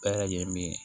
Baara ye min ye